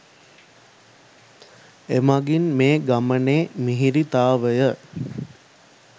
එමගින් මේ ගමනේ මිහිරිතාවය